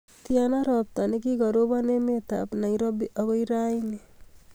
Tyana ropta negigorobon emetab Nairobi agoi rauni